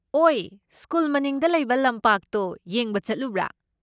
ꯑꯣꯏ, ꯁ꯭ꯀꯨꯜ ꯃꯅꯤꯡꯗ ꯂꯩꯕ ꯂꯝꯄꯥꯛꯇꯣ ꯌꯦꯡꯕ ꯆꯠꯂꯨꯕ꯭ꯔꯥ?